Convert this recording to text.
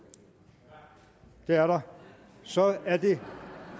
det er der så er det